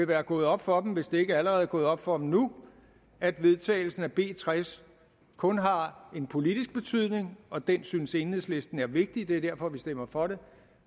være gået op for dem hvis det ikke allerede er gået op for dem nu at vedtagelsen af b tres kun har en politisk betydning og den synes enhedslisten er vigtig det er derfor vi stemmer for det